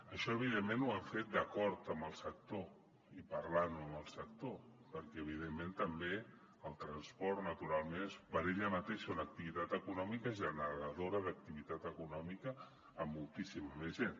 això evidentment ho hem fet d’acord amb el sector i parlant amb el sector perquè evidentment també el transport naturalment és per ell mateix una activitat econòmica generadora d’activitat econòmica per a moltíssima més gent